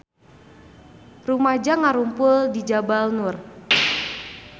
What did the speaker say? Rumaja ngarumpul di Jabal Nur